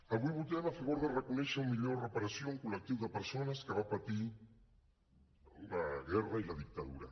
avui votem a favor de reconèixer una millor reparació a un col·lectiu de persones que va patir la guerra i la dictadura